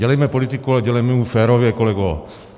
Dělejme politiku, ale dělejme ji férově, kolego.